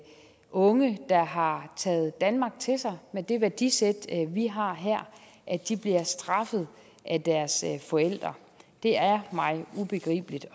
unge der har taget danmark til sig med det værdisæt vi har her bliver straffet af deres forældre det er mig ubegribeligt